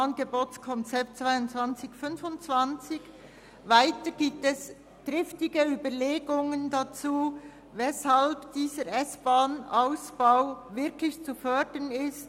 Weiter gibt es triftige Überlegungen dazu, weshalb dieser S-Bahn-Ausbau wirklich zu fördern ist.